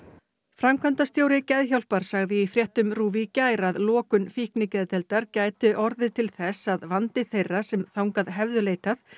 framkvæmdastjóri Geðhjálpar sagði í fréttum RÚV í gær að lokun gæti orðið til þess að vandi þeirra sem þangað hefðu leitað